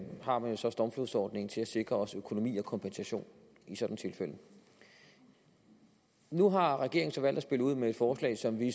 har man jo så stormflodsordningen til at sikre os økonomi og kompensation i sådanne tilfælde nu har regeringen så valgt at spille ud med et forslag som vi